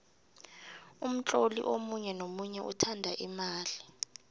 umtloli omunye nomunye uthanda imali